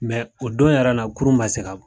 o don yɛrɛ la kurun ma se ka